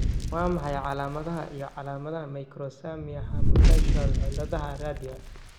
Waa maxay calaamadaha iyo calaamadaha Microsomia hemifacial ciladaha radial?